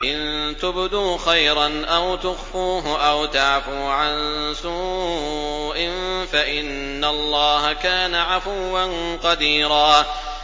إِن تُبْدُوا خَيْرًا أَوْ تُخْفُوهُ أَوْ تَعْفُوا عَن سُوءٍ فَإِنَّ اللَّهَ كَانَ عَفُوًّا قَدِيرًا